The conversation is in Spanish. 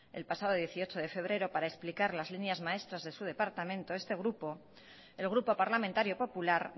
el pasado dieciocho de febrero para explicar las líneas maestras de su departamento este grupo el grupo parlamentario popular